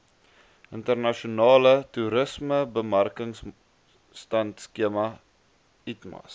internasionale toerismebemarkingbystandskema itmas